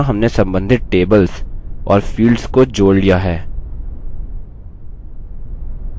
यहाँ हमने सम्बन्धित tables और fields को जोड़ लिया है